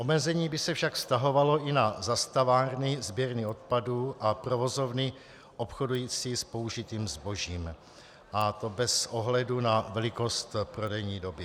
Omezení by se však vztahovalo i na zastavárny, sběrny odpadů a provozovny obchodující s použitým zbožím, a to bez ohledu na velikost prodejní doby.